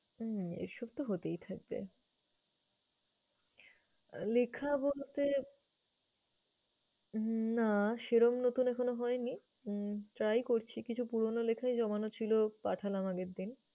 হুম এসব তো হতেই থাকবে। আহ লেখা বলতে হম না সেরকম নতুন এখনো হয়নি উম try করছি, কিছু পুরনো লেখাই জমানো ছিল পাঠালাম আগের দিন।